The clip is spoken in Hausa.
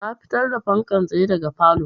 Na fitar da fankan tsaye daga falow